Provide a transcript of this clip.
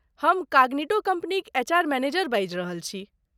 हम कॉग्निटो कम्पनीक HR. Manager बाजि रहल छी।